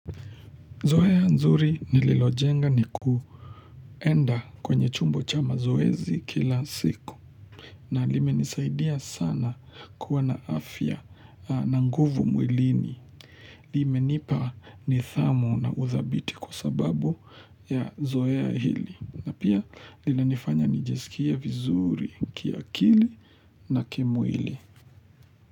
Zoea nzuri nililojenga ni kuenda kwenye chumbo cha mazoezi kila siku na limenisaidia sana kuwa na afya na nguvu mwilini. Limenipa nidhamu na uthabiti kwa sababu ya zoea hili na pia linanifanya nijisikia vizuri kiakili na kimwili.